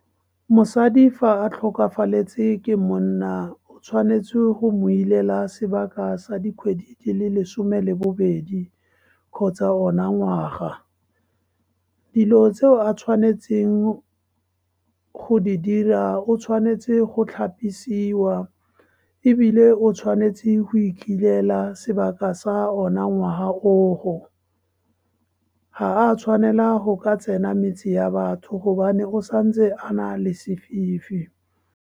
Mosadi fa a tlhokafaletswe ke monna o tshwanetse go mo ileka sebaka sa dikgwedi di le lesome le bobedi kgotsa ona ngwaga. Dilo tseo a tshwanetseng go di dira, o tshwanetse go tlhapisiwa, ebile o tshwanetse go ikilela sebaka sa ona ngwaga o o. Ga a tshwanela go ka tsena metse ya batho gobane o santse a nale sefifi.